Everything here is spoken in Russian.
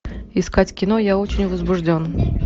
искать кино я очень возбужден